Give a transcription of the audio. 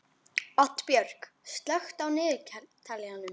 Oddbjörg, slökktu á niðurteljaranum.